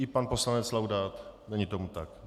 I pan poslanec Laudát - není tomu tak.